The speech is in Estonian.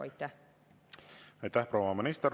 Aitäh, proua minister!